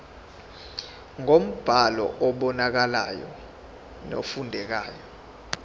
ngombhalo obonakalayo nofundekayo